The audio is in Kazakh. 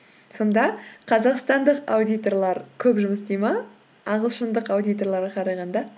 сонда қазақстандық аудиторлар көп жұмыс істейді ме ағылшындық аудиторларға қарағанда